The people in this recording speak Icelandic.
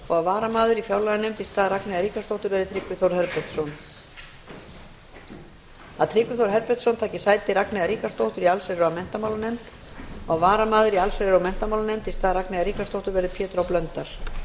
að varamaður í fjárlaganefnd í stað ragnheiðar ríkharðsdóttur verði tryggvi þór herbertsson að tryggvi þór herbertsson taki sæti ragnheiðar ríkharðsdóttur í allsherjar og menntamálanefnd og að varamaður í allsherjar og menntamálanefnd í stað tryggva þórs herbertssonar verði pétur h blöndal að